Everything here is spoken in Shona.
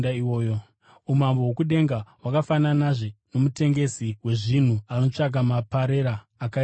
“Umambo hwokudenga hwakafananazve nomutengesi wezvinhu anotsvaka maparera akaisvonaka.